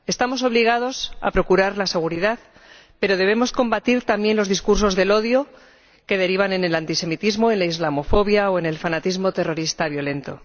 Estamos obligados a procurar la seguridad, pero debemos combatir, también, los discursos del odio, que derivan en el antisemitismo, en la islamofobia o en el fanatismo terrorista violento.